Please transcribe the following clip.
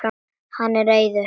Hann er reiður.